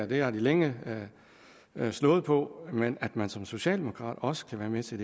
det har de længe slået på men at man som socialdemokrat også kan være med til